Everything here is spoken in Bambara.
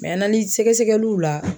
Mɛ analisi sɛgɛsɛgɛliw la